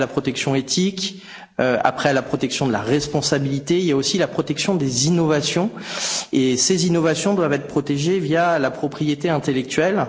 Après la protection de l'éthique, après la protection de la responsabilité, il y a aussi la protection des innovations, qui doivent être protégées via la propriété intellectuelle.